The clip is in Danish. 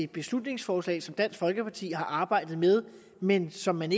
beslutningsforslag som dansk folkeparti har arbejdet med men som man